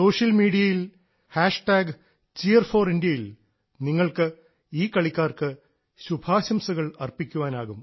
social മീഡിയയിൽ Cheer4Indiaയിൽ നിങ്ങൾക്ക് ഈ കളിക്കാർക്ക് ശുഭാശംസകൾ അർപ്പിക്കാനാവും